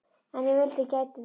En ég vildi að ég gæti það.